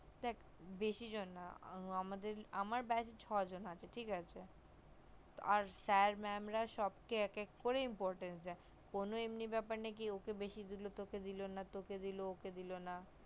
দেখ বেশি জন না আমার beach ছজন আছে ঠিক আছে আর sir mam রা সবকে এক এক করে important দেয় ঠিক আছে কোনো এমনি বেপার নেই যে ওকে বেশি দিলো তোকে দিলো না তোকে দিলো ওকে দিলো না